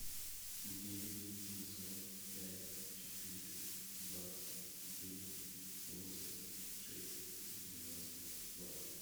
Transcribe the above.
девять семьсот пять четыреста двадцать девять семьдесят шесть девяносто два